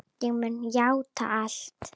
Ég mun játa allt.